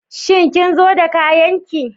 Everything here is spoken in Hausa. Shin kin zo da kayan ki?